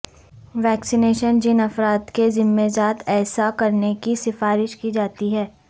vaccination جن افراد کے زمرہ جات ایسا کرنے کی سفارش کی جاتی ہے